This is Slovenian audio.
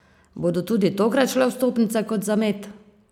Bodo tudi tokrat šle vstopnice kot za med?